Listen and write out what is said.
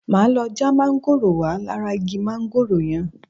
Máa lọ já mángòrò wá lára igi mángòrò yẹn.